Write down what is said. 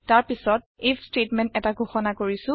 তাৰ পাছত IF statement এটা ঘোষণা কৰিছো